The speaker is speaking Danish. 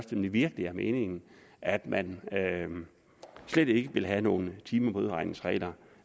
det virkelig er meningen at man slet ikke vil have nogen timemodregningsregler